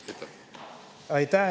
Aitäh!